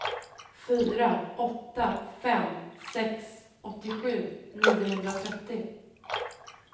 fyra åtta fem sex åttiosju niohundratrettio